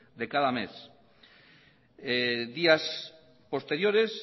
de cada mes días posteriores